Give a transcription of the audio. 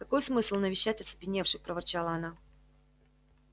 какой смысл навещать оцепеневших проворчала она